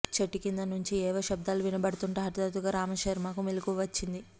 చెట్టు కింద నుంచి ఏవో శబ్దాలు వినపడుతుంటే హఠాత్తుగా రామశర్మకు మెలకువ వచ్చింది